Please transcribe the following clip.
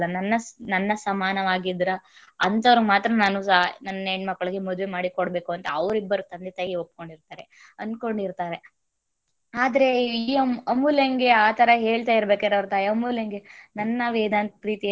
ಹೆಣ್ಣು ಮಕ್ಕಳನ್ನ ಕೊಡಲ್ಲ ನನ್ನ ನನ್ನ ಸಮಾನಗಿದ್ದರ ಅಂತವರಿಗೆ ಮಾತ್ರ ನಾನು ನನ್ನ ಹೆಣ್ಣು ಮಕ್ಕಳನ್ನು ಮದುವೆ ಮಾಡಿ ಕೊಡಬೇಕು ಅಂತ ಅವರಿಬ್ಬರು ತಂದೆ ತಾಯಿ ಒಪ್ಕೊಂಡಿರ್ತಾರೆ ಅನ್ಕೊಂಡಿರ್ತಾರೆ. ಆದರೆ ಈ ಅಮೂಲ್ಯಂಗೆ ಆತರ ಹೇಳ್ತಾ ಇರಬೇಕಾದರೆ ಅವರ ತಾಯಿ, ಅಮೂಲ್ಯಂಗೆ ನನ್ನ ವೇದಾಂತ.